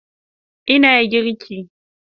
Ina girki